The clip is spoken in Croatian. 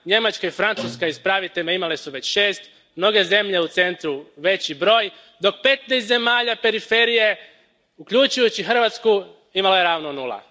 Njemačka i Francuska, ispravite me, imale su već šest, mnoge zemlje u centru veći broj, dok petnaest zemalja periferije, uključujući Hrvatsku, imalo je ravno nula.